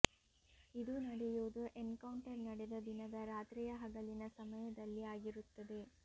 ಇದು ನಡೆಯುವುದು ಎನ್ಕೌಂಟರ್ ನಡೆದ ದಿನದ ರಾತ್ರಿಯ ಹಗಲಿನ ಸಮಯದಲ್ಲಿ ಆಗಿರುತ್ತದೆ